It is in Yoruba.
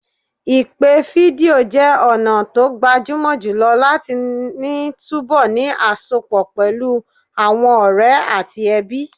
Ìpè fídíò jẹ́ ọ̀nà tó gbajúmọ̀ jùlọ láti ní túbọ̀ ní àsọpọ̀ pẹ̀lú àwọn ọ̀rẹ́ àti ẹbí.